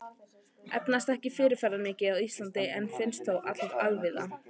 Efnaset er ekki fyrirferðamikið á Íslandi en finnst þó allvíða.